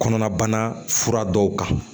Kɔnɔnabana fura dɔw kan